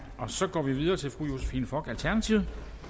så går vi videre til fru josephine fock alternativet